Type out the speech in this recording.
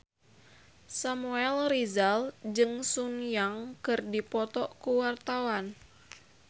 Samuel Rizal jeung Sun Yang keur dipoto ku wartawan